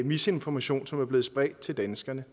misinformation som er blevet spredt til danskerne